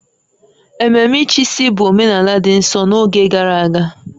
Ememe ịchịisi bụ omenala dị nsọ n'oge gara aga